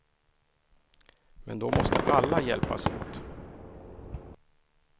Men då måste alla hjälpas åt.